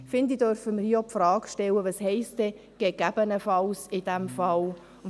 Ich finde, dann dürfen wir hier auch die Frage stellen, was denn «gegebenenfalls» in diesem Fall heisst.